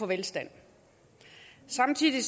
velstand samtidig